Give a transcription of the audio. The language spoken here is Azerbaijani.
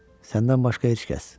Səndən başqa heç kəs.